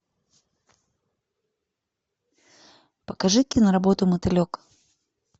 покажи киноработу мотылек